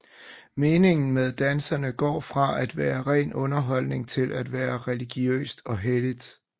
Meningen med dansene går fra at være ren underholdning til at være religiøst og helligt